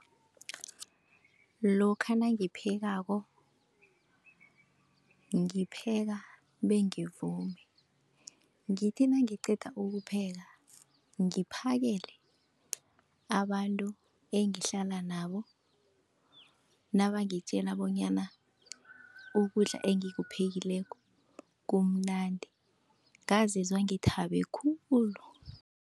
Lokha nangiphekako, ngipheka bengivume ngithi nangiqeda ukupheka ngiphakele abantu engihlala nabo, nabangitjela bonyana ukudla engikuphekileko kumnandi ngazizwa ngithabe khulu.